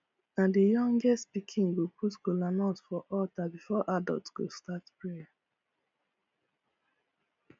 na the youngest pikin go put kolanut for altar before adult go start prayer